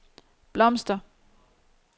blomster